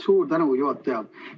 Suur tänu, juhataja!